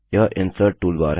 यह insert toolbar है